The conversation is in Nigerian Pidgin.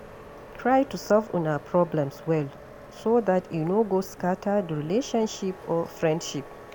Try to solve una problems well so dat e no go scatter di relationship or friendship